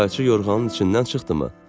Qayçı yorğanın içindən çıxdımı?